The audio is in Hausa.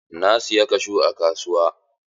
Na siyi kashu a kasuwa.